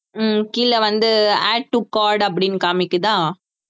ஹம் கீழே வந்து add to cart அப்படின்னு காமிக்குதா